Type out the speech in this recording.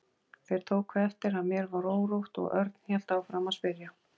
Þeir tóku eftir að mér var órótt og Örn hélt áfram að spyrja.